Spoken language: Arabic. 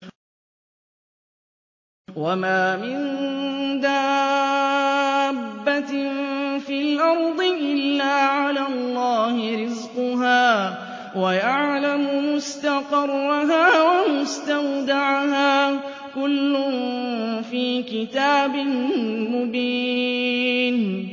۞ وَمَا مِن دَابَّةٍ فِي الْأَرْضِ إِلَّا عَلَى اللَّهِ رِزْقُهَا وَيَعْلَمُ مُسْتَقَرَّهَا وَمُسْتَوْدَعَهَا ۚ كُلٌّ فِي كِتَابٍ مُّبِينٍ